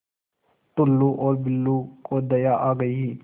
टुल्लु और बुल्लु को दया आ गई